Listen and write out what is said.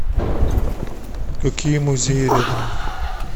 какие музеи рядом